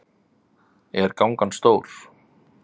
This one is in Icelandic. Er gangan stór?